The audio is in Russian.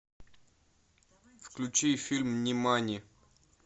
включи фильм нимани